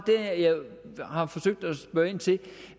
der jeg har forsøgt at spørge ind til